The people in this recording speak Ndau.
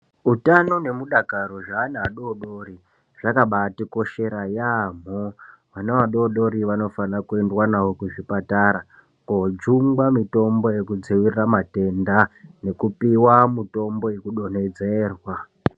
Utano nemudakaro zveana adodori zvakabatikoshera yaambo. Vana vadodori vanofana kuendwa navo kuzvipatara kojungwa mitombo yekudzivirira matenda nekupiva mitombo yekudonhedzerwa.